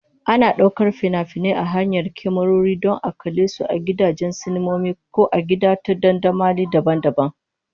Ana ɗaukar fina-finai ta hanyar kyamarori don a kalle su a gidajen sinima ko a gida ta dandamali daban-daban.